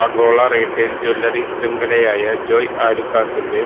ആഗോള retail jewellery ശ്യംഖലയായ ജോയ് ആലുക്കാസിന്റെ